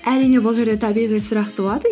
әрине бұл жерде табиғи сұрақ туады